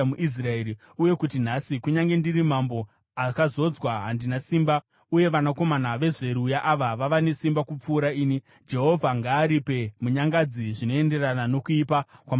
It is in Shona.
Uye kuti nhasi, kunyange ndiri mambo akazodzwa, handina simba, uye vanakomana vaZeruya ava vava nesimba kupfuura ini. Jehovha ngaaripire munyangadzi zvinoenderana nokuipa kwamabasa ake!”